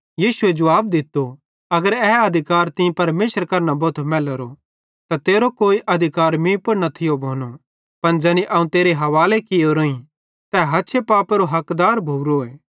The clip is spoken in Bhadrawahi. यीशुए जुवाब दित्तो अगर ए अधिकार तीं परमेशरे करां न भोथो मैलोरो त तेरो कोई अधिकार मीं पुड़ न थियो भोनो पन ज़ैनी अवं तेरे हवाले कियोरोईं ते हछे पापेरो हकदार भोरोए